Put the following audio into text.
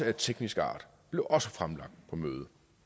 af teknisk art blev også fremlagt på mødet